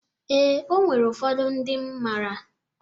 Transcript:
Ee, o nwere ụfọdụ ndịm mara.